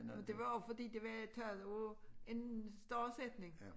Nå det var jo fordi det var taget ud en stor sætning